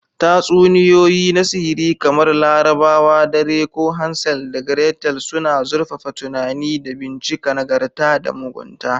Tatsuniyoyi na Sihiri, kamar Larabawa Dare ko Hansel da Gretel, suna zurfafa tunani da bincika nagarta da mugunta.